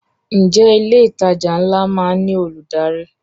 Ǹjẹ́ ilé ìtajà ńlá má ń ní olùdarí?